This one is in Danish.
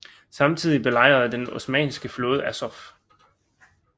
Samtidig belejrede den osmanniske flåde Azov